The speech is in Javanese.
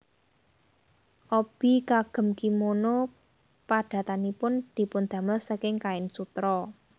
Obi kagem kimono padatanipun dipundamel saking kain sutra